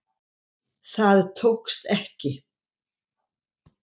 Það tókst ekki